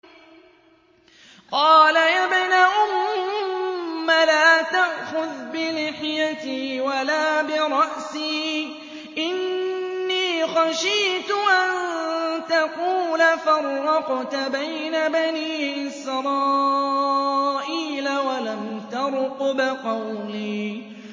قَالَ يَا ابْنَ أُمَّ لَا تَأْخُذْ بِلِحْيَتِي وَلَا بِرَأْسِي ۖ إِنِّي خَشِيتُ أَن تَقُولَ فَرَّقْتَ بَيْنَ بَنِي إِسْرَائِيلَ وَلَمْ تَرْقُبْ قَوْلِي